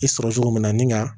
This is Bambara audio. I sɔrɔ cogo min na nin ka